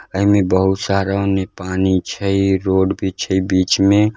अय में बहुत सारा ओन्ने पानी छय रोड भी छय बीच में।